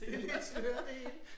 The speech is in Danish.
Det lidt sløret det hele